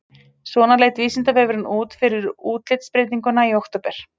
Svona leit Vísindavefurinn út fyrir útlitsbreytinguna í október.